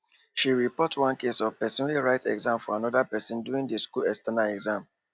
she report one case of person wey write exam for another person during the school external exam